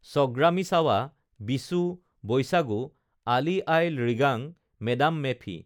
ছগ্ৰামিছাৱা বিচু বৈশাগু আলি য়াই লৃগাং মে ডাম মে ফি